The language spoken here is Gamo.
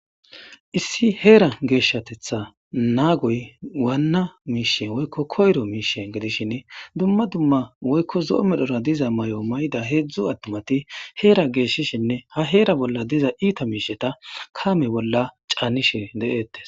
issi heera geeshshateththa naagoy wana miishshe woykko koyro miishshe giidishshin dumma dumma woykko zo'o medhdhora diza may'o may'idda heedzdzu attimati heera geeshishinne ha heera bolla diza iita miisheta kaame bolla caanishshe de'etees